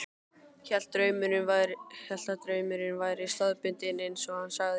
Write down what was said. Hélt að draumurinn væri staðbundinn, eins og hann sagði.